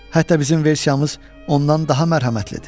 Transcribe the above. Hətta bizim versiyamız ondan daha mərhəmətlidir.